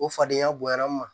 O fadenya bonyana n ma